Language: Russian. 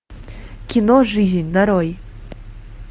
кино жизнь нарой